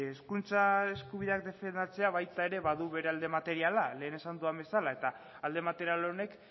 hizkuntza eskubidea defendatzea baita ere badu alde materiala lehen esan dudan bezala eta alde material honek